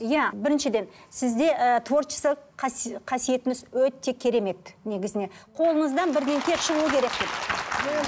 иә біріншіден сізде ііі творчествалық қасиетіңіз өте керемет негізіне қолыңыздан бірдеңе шығау керек деп